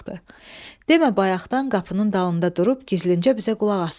Demə bayaqdan qapının dalında durub gizlincə bizə qulaq asırmış.